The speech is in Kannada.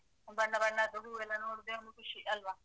ಬಣ್ಣ ಬಣ್ಣದು ಹೂವೆಲ್ಲ ನೋಡುದೆ ಒಂದು ಖುಷಿ ಅಲ್ವಾ?